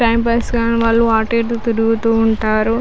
Time pass కానీ వాళ్ళు అటు ఇటు తిరుగుతూ ఉంటారు.